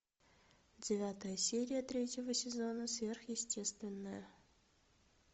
девятая серия третьего сезона сверхъестественное